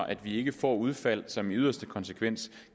at vi ikke får udfald som i yderste konsekvens